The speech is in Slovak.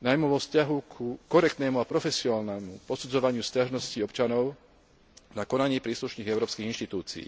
najmä vo vzťahu ku korektnému a profesionálnemu posudzovaniu sťažností občanov na konanie príslušných európskych inštitúcií.